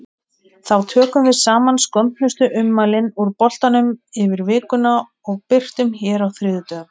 Þá tökum við saman skondnustu ummælin úr boltanum yfir vikuna og birtum hér á þriðjudögum.